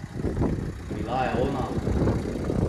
Bila je ona!